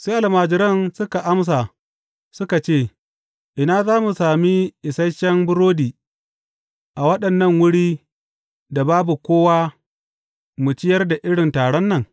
Sai almajiransa suka amsa suka ce, Ina za mu sami isashen burodi a wannan wurin da babu kowa mu ciyar da irin taron nan?